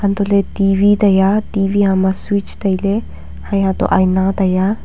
hantoh ley T_V tai a T_V hama switch tai a Haye ha to ina tai aa.